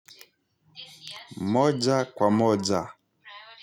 Moja kwa moja.